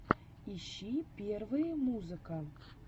ищи первые музыка